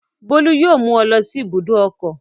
Bólú yóò mú ọ lọ sí ibùdó ọkọ̀.